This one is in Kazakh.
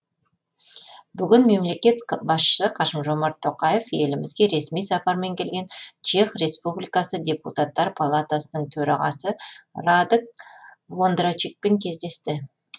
бүгін мемлекет басшысы қасым жомарт тоқаев елімізге ресми сапармен келген чех республикасы депутаттар палатасының төрағасы радек вондрачекпен кездесті